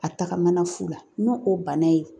A tagamana fula n'o o banna ye .